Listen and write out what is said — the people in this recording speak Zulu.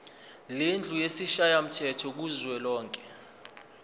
lendlu yesishayamthetho kuzwelonke